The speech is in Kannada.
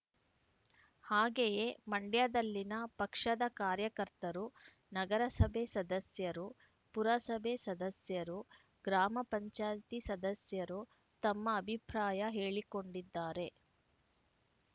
ಹಾಗೆಯೇ ಮಂಡ್ಯದಲ್ಲಿನ ಪಕ್ಷದ ಕಾರ್ಯಕರ್ತರು ನಗರಸಭೆ ಸದಸ್ಯರು ಪುರಸಭೆ ಸದಸ್ಯರು ಗ್ರಾಮ ಪಂಚಾಯಿತಿ ಸದಸ್ಯರು ತಮ್ಮ ಅಭಿಪ್ರಾಯ ಹೇಳಿಕೊಂಡಿದ್ದಾರೆ